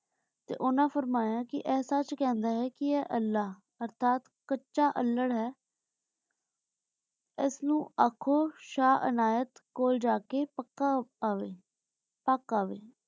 ਤੇ ਓਨਾਂ ਫਰਮਾਯਾ ਕੇ ਇਹ ਸਚ ਕਹੰਦਾ ਆਯ ਕੇ ਇਹ ਅਲ੍ਲਾਹ ਅਰਥਾਤ ਕਚਾ ਅਲ੍ਹਾਰ ਆਯ ਏਸ ਨੂ ਆਖੋ ਸ਼ਾਹ ਅਨਾਯਤ ਕੋਲ ਜਾ ਕੇ ਪੱਕਾ ਅਵੇ ਪਾਕ ਅਵੇ